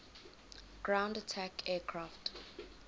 ground attack aircraft